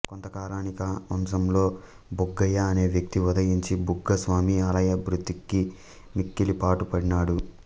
కొంతకాలానికా వంశంలో బుగ్గయ్య అనే వ్యక్తి ఉదయించి బుగ్గస్వామి ఆలయాభివృద్ధికి మిక్కిలి పాటుపడినాడు